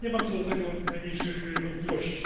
Nie mam co do tego najmniejszych wątpliwości.